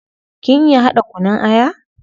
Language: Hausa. Kin iya hada kunun aya?